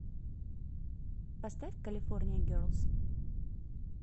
поставь калифорния герлз